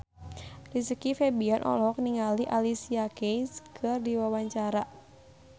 Rizky Febian olohok ningali Alicia Keys keur diwawancara